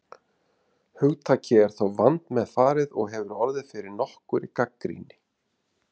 Hugtakið er þó vandmeðfarið og hefur orðið fyrir nokkurri gagnrýni.